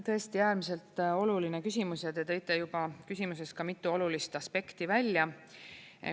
Tõesti, äärmiselt oluline küsimus ja te tõite juba küsimuses ka mitu olulist aspekti välja.